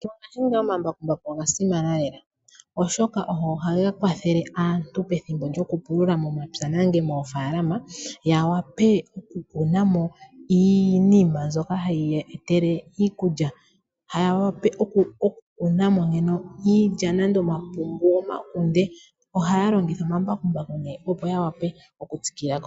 Mongashingeyi omambakumbaku oga simana lela, oshoka ogo ha ga kwathele aantu pethimbo lyokupulula momapya nenge moofaalama ya wape oku kuna mo iinima mbyoka hayi ya etele iikulya. Ya wape oku kuna mo iilya, omapungu nenge omakunde oha ya longitha omambakumbaku opo ya wa pe okutsikila ko.